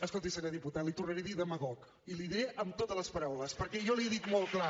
escolti senyor diputat li tornaré a dir demagog i li ho diré amb totes les paraules perquè jo li ho he dit molt clar